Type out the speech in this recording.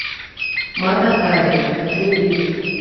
мата хари хочу увидеть